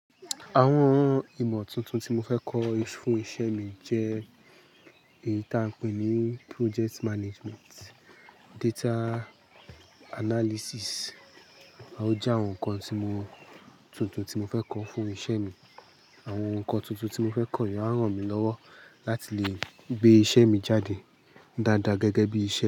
Àwọn ìmọ̀ tuntun tí mo fẹ́ kọ́ fún iṣẹ́ mi jẹ́ èyí tí à ń pè ní project management, data analysis. Ò je àwọn nǹkan tuntun tí mo fẹ́ kọ́ fún iṣẹ́ mi. Àwọn nǹkan tuntun tí mo fẹ́ kọ́ i a ran mi lọ́wọ́ láti lè gbé iṣẹ́ mi jáde dáadáa gẹ́gẹ́ bí i ṣe.